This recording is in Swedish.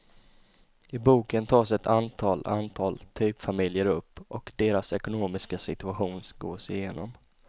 I boken tas ett antal antal typfamiljer upp och deras ekonomiska situation gås igenom.